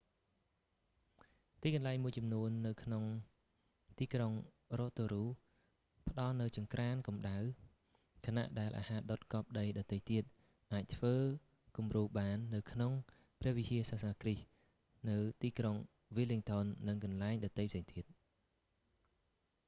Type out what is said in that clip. ទីកន្លែងមួយចំនួននៅក្នុងទីក្រុង rotorua ផ្ដល់នូវចង្ក្រានកំដៅ ខណៈដែលអាហារដុតកប់ដីដទៃទៀត អាចធ្វើគំរូបាននៅក្នុងព្រះវិហារសាសនាគ្រីស្ទនៅទីក្រុង wellington និងកន្លែងដទៃផ្សេងទៀត